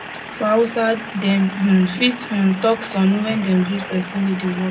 for hausa dem um fit um talk sannu when dem greet person wey dey work